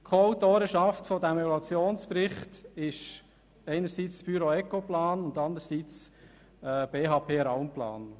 Die Co-Autorenschaft des Evaluationsberichts setzt sich aus der Ecoplan AG und der BHP Raumplan AG zusammen.